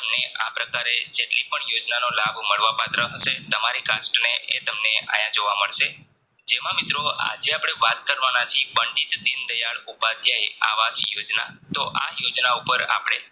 આ પ્રકારે જેટલી પણ યોજનાનો લાભ મળવા પાત્ર હશે તમારી cast ને એ તમને આયા જોવા મળસે જેમાં મિત્રો આજે વાત કરવાના છીએ પંડિત દિન દિયાળ ઉપાધ્યાય આવાસ યોજના તો આયૉજના ઉપર આપણે